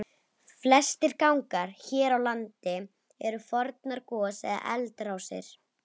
Flestir gangar hér á landi eru fornar gos- eða eldrásir.